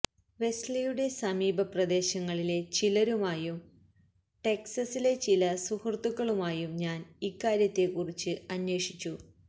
വെസ്ലിയുടെ സമീപ പ്രദേശങ്ങളിലെ ചിലരുമായും ടെക്സസിലെ ചില സുഹൃത്തുക്കളുമായും ഞാന് ഇക്കാര്യത്തെക്കുറിച്ച് അന്വേഷിച്ചു